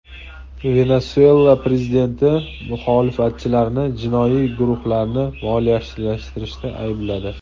Venesuela prezidenti muxolifatchilarni jinoiy guruhlarni moliyalashtirishda aybladi.